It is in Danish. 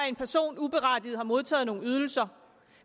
en person uberettiget har modtaget nogle ydelser